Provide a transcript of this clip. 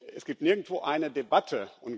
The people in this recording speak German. Es gibt nirgendwo eine Debatte.